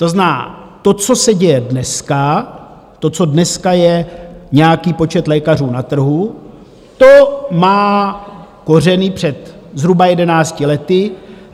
To znamená, to, co se děje dneska, to, co dneska je nějaký počet lékařů na trhu, to má kořeny před zhruba jedenácti lety.